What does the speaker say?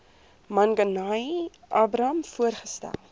manganyi abraham voorgestel